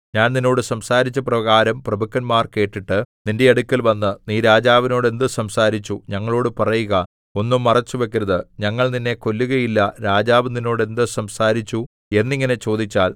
ഞാൻ നിന്നോട് സംസാരിച്ചപ്രകാരം പ്രഭുക്കന്മാർ കേട്ടിട്ട് നിന്റെ അടുക്കൽവന്ന് നീ രാജാവിനോട് എന്ത് സംസാരിച്ചു ഞങ്ങളോടു പറയുക ഒന്നും മറച്ചുവയ്ക്കരുത് ഞങ്ങൾ നിന്നെ കൊല്ലുകയില്ല രാജാവു നിന്നോട് എന്ത് സംസാരിച്ചു എന്നിങ്ങനെ ചോദിച്ചാൽ